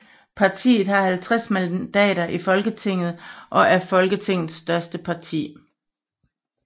Partiet har 50 mandater i Folketinget og er Folketingets største parti